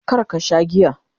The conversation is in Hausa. kar ka Sha giya!